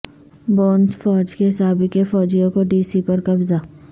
bonus فوج کے سابق فوجیوں کو ڈی سی پر قبضہ